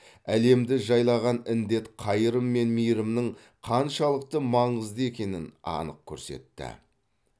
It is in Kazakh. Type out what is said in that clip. әлемді жайлаған індет қайырым мен мейірімнің қаншалықты маңызды екенін анық көрсетті